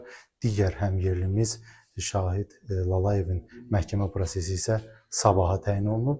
Digər həmyerlimiz Şahid Lalayevin məhkəmə prosesi isə sabaha təyin olunub.